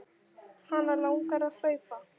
Hana langar að hlaupa.